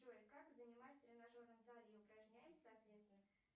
джой как занимаясь в тренажерном зале и упражняясь соответственно